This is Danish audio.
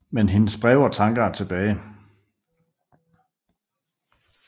Men hendes breve og tanker er tilbage